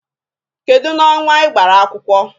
Kedụ n'ọnwa ị gbara akwụkwọ?